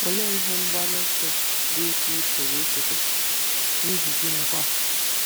Olee ihe mgbaru ọsọ bụ́ isi ị pụrụ isetịpụ, n'ihi gịnịkwa?